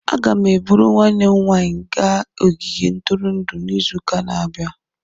Aga m eburu nwanne m nwanyị gaa ogige ntụrụndụ izu ụka na-abịa.